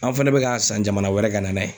An fɛnɛ be k'a san jamana wɛrɛ ka na n'a ye